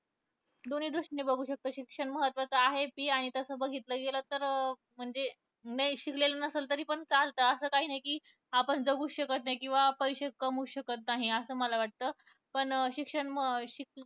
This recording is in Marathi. दोन्ही दृष्टीने बघू शकतो कि शिक्षण महत्वाचं आहे. ती तसं बघितलं गेलं तर म्हणजे नाही शिकलेल नसेल तरी पण चालतं तर असं काही नाही कि आपण जगूच शकत नाही किंवा पैसे कमवूच शकत नाही. असं मला वाटतं